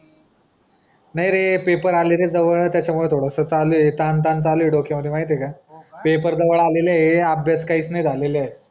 नाय रे पेपर आलेले जवळत्याचा मुले थोडा स चालू ए तान ताण चालू ए डोक्यामध्ये माहिती आहे का पेपर जवळ आलेले अब्यास काहीच नाय झालेलाय